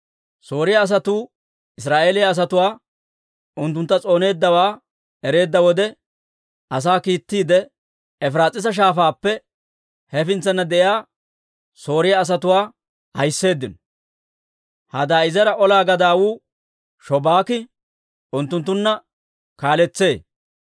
Sooriyaa asatuu Israa'eeliyaa asatuu unttuntta s'ooneeddawaa ereedda wode, asaa kiittiide Efiraas'iisa Shaafaappe hefintsana de'iyaa Sooriyaa asatuwaa ahiseeddino. Hadaadi'eezera ola gadawuu Shobaaki unttuntta kaaletsee.